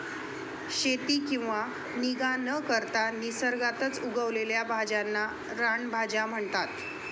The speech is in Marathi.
शेती किंवा निगा न करता निसर्गातच उगवलेल्या भाज्यांना रानभाज्या म्हणतात.